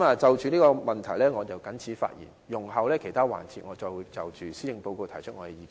就着這個問題我謹此發言，容後在其他環節，我會再就施政報告提出意見。